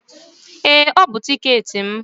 Ee, ọ bụ tiketi m.